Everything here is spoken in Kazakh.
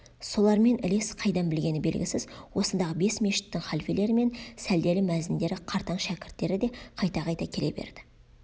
солармен ілес қайдан білгені белгісіз осындағы бес мешіттің халфелері мен сәлделі мәзіндері қартаң шәкірттері де қайта-қайта келе берді